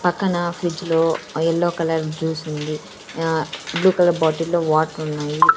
పక్కన ఫ్రిడ్జ్ లో a yellow colour juice ఉంది ఆహ్ బ్లూ కలర్ బాటిల్ లో వాటర్ ఉన్నాయి.